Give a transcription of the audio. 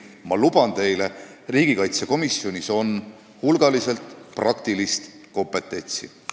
Ma luban teile, et riigikaitsekomisjonis on hulgaliselt praktilist kompetentsi.